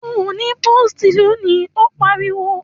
Ò ní pósìtì lónìí, ó pariwo!